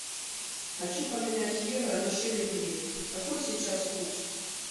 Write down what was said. хочу поменять евро на шиллинги какой сейчас курс